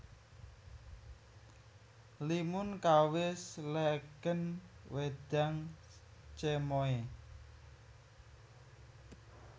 Limun kawis legèn wédang cemoè